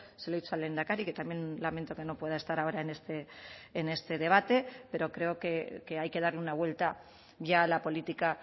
se lo he dicho al lehendakari que también lamento que no pueda estar ahora en este debate pero creo que hay que darle una vuelta ya a la política